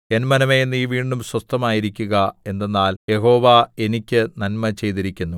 N മനമേ നീ വീണ്ടും സ്വസ്ഥമായിരിക്കുക എന്തെന്നാൽ യഹോവ എനിക്ക് നന്മ ചെയ്തിരിക്കുന്നു